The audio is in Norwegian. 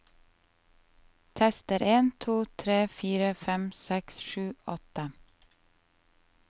Tester en to tre fire fem seks sju åtte